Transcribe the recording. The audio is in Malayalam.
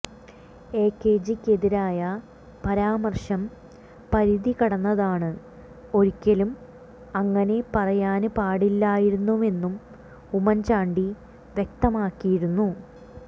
എകെജിക്കെതിരായ പരാമര്ശം പരിധി കടന്നതാണ് ഒരിക്കലും അങ്ങനെ പറയാന് പാടില്ലായിരുന്നുവെന്നും ഉമ്മന് ചാണ്ടി വ്യക്തമാക്കിയിരുന്നു